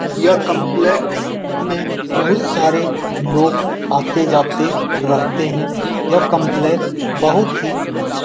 यह काम्प्लेक्स में बहुत सारे लोग आते-जाते रहते हैं यह काम्प्लेक्स बहुत ही अच्छा --